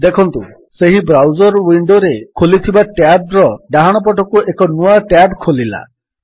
ଦେଖନ୍ତୁ ସେହି ବ୍ରାଉଜର୍ ୱିଣ୍ଡୋରେ ଖୋଲିଥିବା ଟ୍ୟାବ୍ ର ଡାହାଣପଟକୁ ଏକ ନୂଆ ଟ୍ୟାବ୍ ଖୋଲିଲା